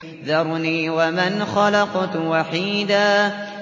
ذَرْنِي وَمَنْ خَلَقْتُ وَحِيدًا